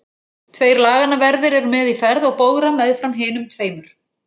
Tveir laganna verðir eru með í ferð og bogra meðfram hinum tveimur.